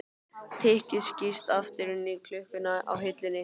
Tikkið skýst aftur inn í klukkuna á hillunni.